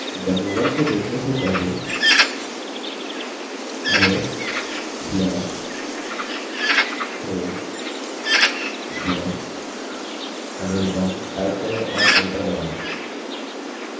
demo1 को देखने से पहले ls/home/anirban type करें और enter दबायें